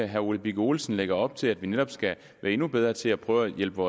herre ole birk olesen lægger op til at vi netop skal være endnu bedre til at prøve at hjælpe